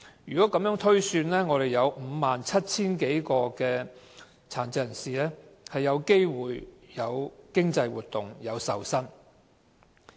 如果按此推算，即有 57,000 多名殘疾人士有機會從事經濟活動並受薪。